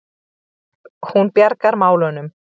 Hún bjargar málunum.